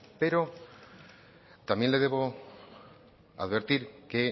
pero también le debo advertir que